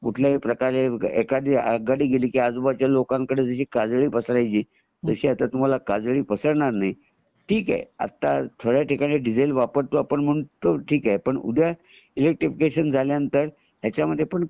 कुठल्याही प्रकारे एखादी आगगाडी गेली की आजू बाजू च्या लोकाना कडे काजळी पासरायची तशी आता तुम्हाला काजळी पासरणार नाही ठिके आता थोड्या ठिकाणी आपण आता डीजल वापरतो तर ठिके पण उद्या ईलेक्टरीफिकेशन झाल्या नंतर ह्याचमद्धे पण